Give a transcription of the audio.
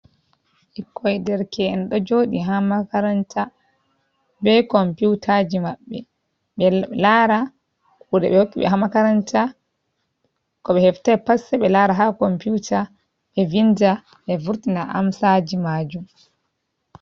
Bikkoi derke’en, do jodi ha makaranta ,be komputaji mabbe, be lara kude be hokki be ha makaranta, ko be heftai pat se be lara ha komputa, be vinda be vurtina amsaji majun.